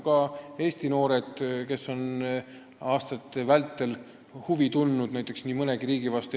Ka Eesti noored on aastate vältel huvi tundnud nii mõnegi riigi vastu.